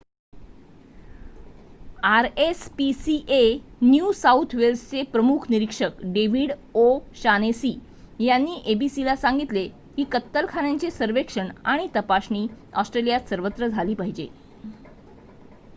RSPCA New South वेल्सचे प्रमुख निरीक्षक डेविड ओ' शानेसी यांनी एबीसीला सांगितले की कत्तलखान्यांचे सर्वेक्षण आणि तपासणी ऑस्ट्रेलियात सर्वत्र झाली पाहिजे